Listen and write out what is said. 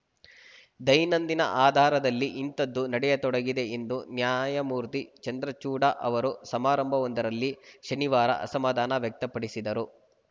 ದೈನಂದಿನ ಆಧಾರದಲ್ಲಿ ಇಂಥದ್ದು ನಡೆಯತೊಡಗಿದೆ ಎಂದು ನ್ಯಾಯಮೂರ್ತಿ ಚಂದ್ರಚೂಡ್‌ ಅವರು ಸಮಾರಂಭವೊಂದರಲ್ಲಿ ಶನಿವಾರ ಅಸಮಾಧಾನ ವ್ಯಕ್ತಪಡಿಸಿದರು